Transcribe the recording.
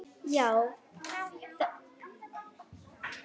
Já, þetta er allt rétt.